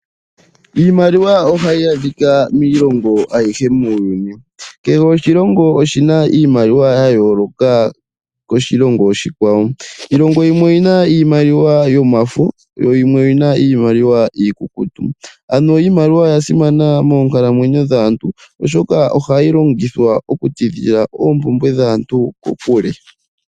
Iimaliwa ohayi adhika miilongo ayihe muuyuni nakehe oshilongo oshina iimaliwa yayooloka kiilongo iikwawo. Iilongo yimwe oyina iimaliwa yomafo, yo yimwe oyina iimaliwa iikukutu ano iimaliwa oyasimana monkalamwenyo dhaantu oshoka ohayi kandulapo oompumbwe dhaantu kokule.